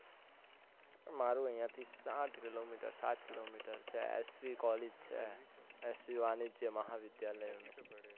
મારે અહિયાંથી સાત કિલો મિટર પાંચ kilometre, SV college SG વાણીજ્ય મહા વિદ્યાલય